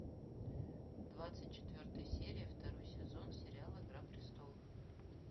двадцать четвертая серия второй сезон сериала игра престолов